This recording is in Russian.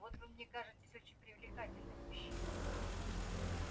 вот вы мне кажетесь очень привлекательным мужчиной